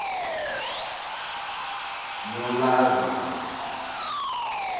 nolazaro